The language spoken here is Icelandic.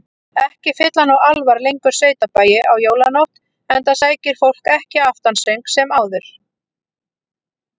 Ekki fylla nú álfar lengur sveitabæi á jólanótt, enda sækir fólk ekki aftansöng sem áður.